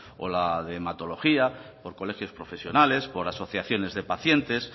o la de hematología por colegios profesionales por asociaciones de pacientes